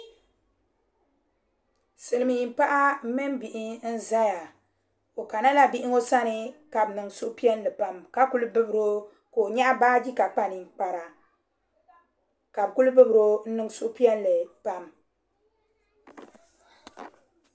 Silmiin paɣa mini bihi n ʒɛya o kana la bihi ŋɔ sani ka bi niŋ suhupiɛlli pam ka kuli bibiro ka o nyaɣa baaji ka kpa ninkpara ka bi kuli bibiro n niŋ suhupiɛlli pam